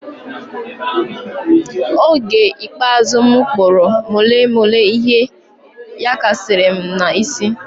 Oge ikpeazụ m kpuru molo molo ihe yakashiri m na isi